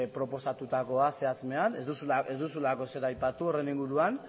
proposatutakoa zehatz mehatz ez duzulako ezer aipatu horren inguruan